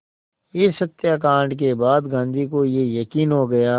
इस हत्याकांड के बाद गांधी को ये यक़ीन हो गया